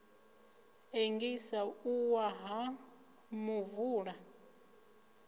ḽengisa u wa ha muvula